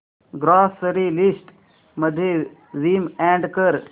grocery list मध्ये Vim add कर